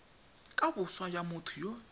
ka boswa jwa motho yo